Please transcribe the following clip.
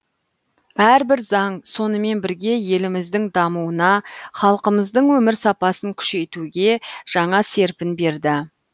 әрбір заң сонымен бірге еліміздің дамуына халқымыздың өмір сапасын күшейтуге жаңа серпін берді